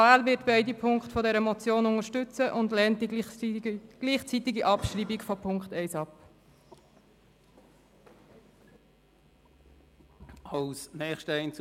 Die AL wird beide Punkte dieser Motion unterstützen und die gleichzeitige Abschreibung von Punkt 1 ablehnen.